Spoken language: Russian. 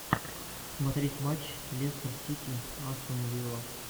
смотреть матч лестер сити астон вилла